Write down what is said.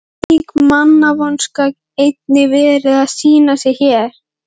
Gat slík mannvonska einnig verið að sýna sig hér?